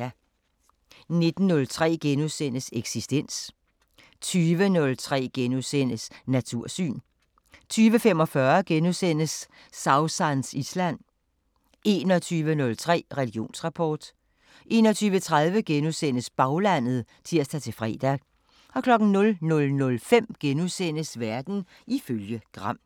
19:03: Eksistens * 20:03: Natursyn * 20:45: Sausans Island * 21:03: Religionsrapport 21:30: Baglandet *(tir-fre) 00:05: Verden ifølge Gram *